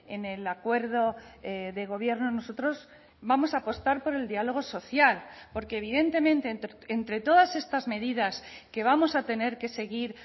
en el acuerdo de gobierno nosotros vamos a apostar por el diálogo social porque evidentemente entre todas estas medidas que vamos a tener que seguir